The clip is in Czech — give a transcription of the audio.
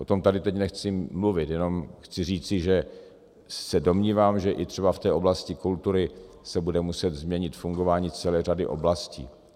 O tom tady teď nechci mluvit, jenom chci říci, že se domnívám, že i třeba v té oblasti kultury se bude muset změnit fungování celé řady oblastí.